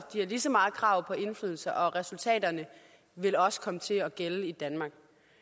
de har lige så meget krav på indflydelse og resultaterne vil også komme til at gælde i danmark